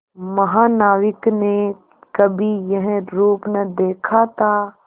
महानाविक ने कभी यह रूप न देखा था